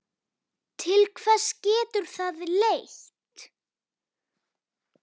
Til hvers getur það leitt?